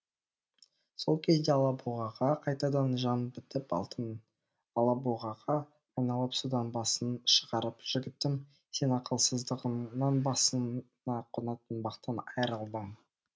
сол кезде алабұғаға қайтадан жан бітіп алтын алабұғаға айналып судан басын шығарып жігітім сен ақылсыздығыңнан басыңа қонатын бақтан айрылдың